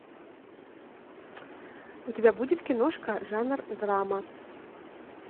у тебя будет киношка жанр драма